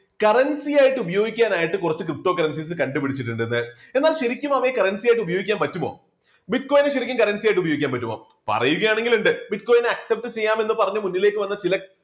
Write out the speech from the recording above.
currency ആയിട്ട് ഉപയോഗിക്കാൻ ആയിട്ട് കുറച്ച് ptocurrencies കണ്ടുപിടിച്ചിട്ടുണ്ടന്ന് എന്നാൽ ശരിക്കും അവയെ currency ആയിട്ട് ഉപയോഗിക്കാൻ പറ്റുമോ? bitcoin നെ ശരിക്കും currency ആയിട്ട് ഉപയോഗിക്കാൻ പറ്റുമോ? പറയുകയാണെങ്കിൽ ഉണ്ട് bitcoin നെ accept ചെയ്യാമെന്ന് പറഞ്ഞ് മുന്നിലേക്ക് വന്ന ചില